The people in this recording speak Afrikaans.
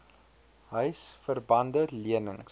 huisver bande lenings